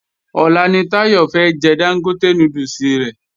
Ọ̀la ni Táyọ̀ fẹ́ jẹ Dángótè núdùsì rẹ̀